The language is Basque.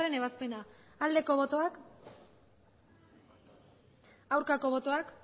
ebazpena aldeko botoak aurkako botoak